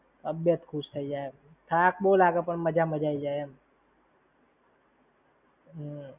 તબિયત ખુશ જાય. થાક બો લાગે પણ મજા મજા આઈ જાય એમ.